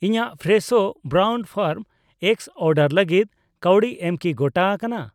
ᱤᱧᱟᱜ Fresho brown farm eggs order ᱞᱟᱜᱤᱫ ᱠᱟᱹᱣᱰᱤ ᱮᱢ ᱠᱤ ᱜᱚᱴᱟ ᱟᱠᱟᱱᱟ ?